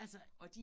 Altså